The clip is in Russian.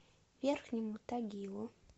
верхнему тагилу